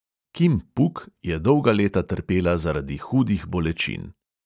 Kim puk je dolga leta trpela zaradi hudih bolečin.